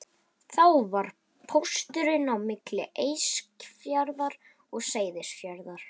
Þá var það pósturinn á milli Eskifjarðar og Seyðisfjarðar.